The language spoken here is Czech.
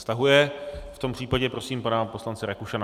Stahuje, v tom případě prosím pana poslance Rakušana.